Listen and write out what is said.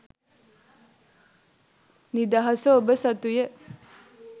නිදහස ඔබ සතුය.